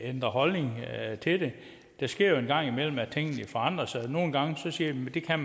ændrer holdning til det det sker jo en gang imellem at tingene forandrer sig nogle gange siger man det kan